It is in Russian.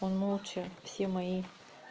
он молча все мои